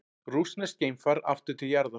Rússneskt geimfar aftur til jarðar